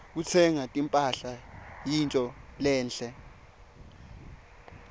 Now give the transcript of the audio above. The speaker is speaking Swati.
kutsenga timphahla kuyintfo lenhle